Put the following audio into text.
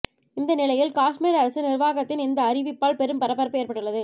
இந்த நிலையில் காஷ்மீர் அரசு நிர்வாகத்தின் இந்த அறிவிப்பால் பெரும் பரபரப்பு ஏற்பட்டுள்ளது